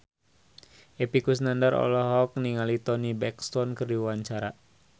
Epy Kusnandar olohok ningali Toni Brexton keur diwawancara